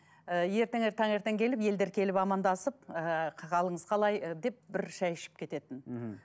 ы ертеңі таңертең келіп елдер келіп амандасып ыыы қалыңыз қалай ы деп бір шай ішіп кететін мхм